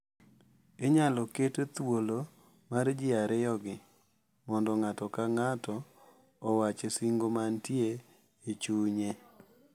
Inyalo ket thuolo mar ji ariyogi mondo ng`ato ka ng`ato owach singo mantie e chunye.